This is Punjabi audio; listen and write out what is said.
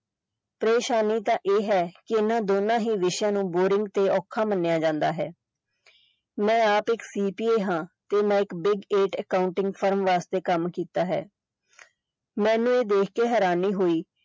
ਪ੍ਰੇਸ਼ਾਨੀ ਤਾਂ ਇਹ ਹੈ ਕਿ ਇਹਨਾਂ ਦੋਹਾਂ ਵਿਸ਼ਿਆਂ ਨੂੰ boring ਤੇ ਔਖਾ ਮੰਨਿਆ ਜਾਂਦਾ ਹੈ ਮੈਂ ਆਪ ਇੱਕ ਹਾਂ ਤੇ ਮੈਂ ਇੱਕ accounting firm ਵਾਸਤੇ ਕੰਮ ਕੀਤਾ ਹੈ ਮੈਨੂੰ ਇਹ ਦੇਹ ਕੇ ਹੈਰਾਨੀ ਹੋਈ।